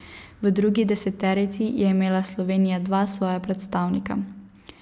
V drugi deseterici je imela Slovenija dva svoja predstavnika.